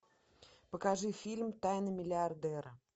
покажи фильм тайны миллиардера